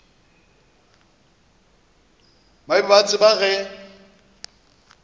ba be ba tseba ge